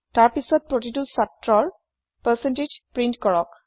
তাৰ পিত প্ৰতিতো ছাত্ৰৰ পাৰচেন্তেজ প্ৰিন্ট কৰক